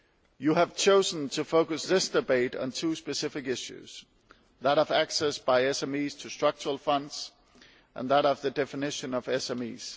You have chosen to focus this debate on two specific issues that of access by SMEs to structural funds and that of the definition of SMEs.